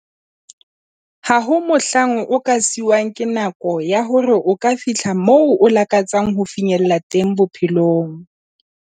Ha ho na mohlang o ka siuwang ke nako ya hore o ka fihla moo o lakatsang ho finyella teng bophelong.